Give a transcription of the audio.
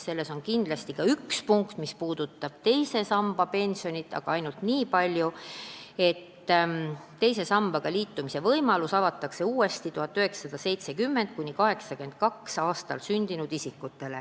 Selles eelnõus on ka üks punkt, mis puudutab teise samba pensionit, aga ainult nii palju, et teise sambaga liitumise võimalus avatakse uuesti neile, kes on sündinud ajavahemikus 1970–1982.